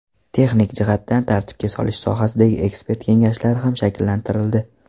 Texnik jihatdan tartibga solish sohasidagi ekspert kengashlari ham shakllantirildi.